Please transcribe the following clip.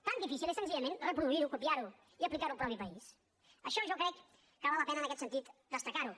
tan difícil és senzillament reproduir ho copiar ho i aplicar ho al propi país això jo crec que val la pena en aquest sentit destacar ho